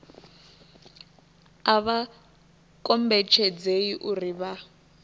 a vha kombetshedzei uri vha